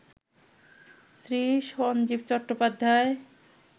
Shri Sanjeev Chattopadhyay